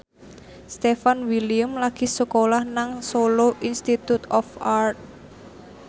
Stefan William lagi sekolah nang Solo Institute of Art